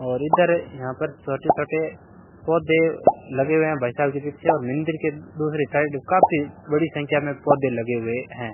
और इधर यहां पर छोटे छोटे पौधे लगे हुए है भाई साहब के पीछे और मंदिर के दूसरे साइड काफी बड़ी संख्या मे पौधे लगे हुए है।